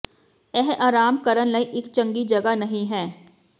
ਇਹ ਆਰਾਮ ਕਰਨ ਲਈ ਇੱਕ ਚੰਗੀ ਜਗ੍ਹਾ ਨਹੀ ਹੈ